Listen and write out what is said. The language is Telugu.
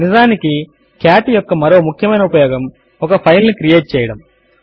నిజమునకు కాట్ యొక్క మరో ముఖ్యమైన ఉపయోగము ఒక ఫైల్ ను క్రియేట్ చేయడము